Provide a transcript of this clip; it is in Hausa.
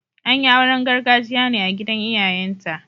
An yi auren gargajiya ne a gidan iyayenta.